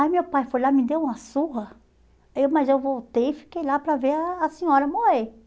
Aí meu pai foi lá, me deu uma surra, eu mas eu voltei e fiquei lá para ver a a senhora morrer.